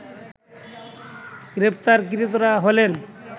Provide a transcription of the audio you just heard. গ্রেপ্তারকৃতরা হলেন